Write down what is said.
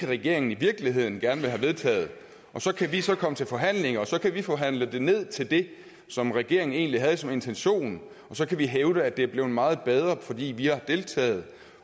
regeringen i virkeligheden gerne vil have vedtaget og så kan vi så komme til forhandlinger og så kan vi forhandle det ned til det som regeringen egentlig havde som intention og så kan vi hævde at det er blevet meget bedre fordi vi har deltaget